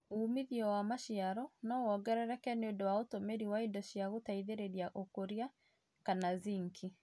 ũmĩthĩo wa macĩaro no wongerereke nĩũndũ wa ũtũmĩrĩ wa ĩndo cĩa gũteĩthĩrĩrĩa ũkũrĩa kana zĩnkĩ